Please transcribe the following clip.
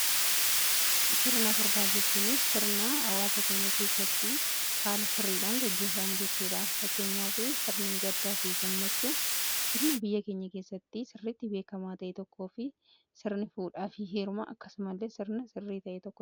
Sirna furdaa jechuun sirna hawaasa keenya keessatti haala sirriidhan gaggeeffamu jechuudha. Fakkeenyaa fi sirni gaddaa fi gammachuu sirna biyya keenya keessatti sirritti beekamaa ta'ee tokkoo fi sirni fuudhaa fi heerumaa akkasumallee sirna sirrii ta'ee tokkodha.